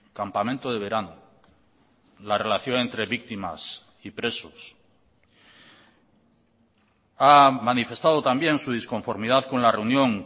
campamento de verano la relación entre víctimas y presos ha manifestado también su disconformidad con la reunión